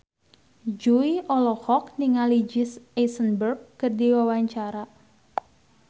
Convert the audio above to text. Jui olohok ningali Jesse Eisenberg keur diwawancara